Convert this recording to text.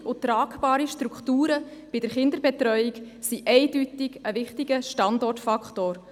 Gute und tragbare Strukturen bei der Kinderbetreuung sind eindeutig ein wichtiger Standortfaktor.